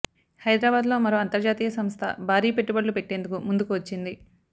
హైదరాబాద్లో మరో అంతర్జాతీయ సంస్థ భారీ పెట్టుబడులు పెట్టేందుకు ముందుకు వచ్చింది